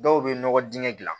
Dɔw bɛ nɔgɔ dingɛ dilan